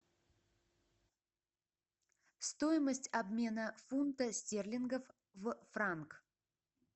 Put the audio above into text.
стоимость обмена фунта стерлингов в франк